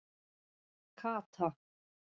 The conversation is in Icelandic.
Kata